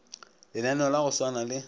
lenaneo la go swana le